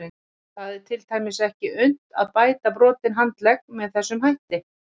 Það er til dæmis ekki unnt að bæta brotinn handlegg með þessum hætti.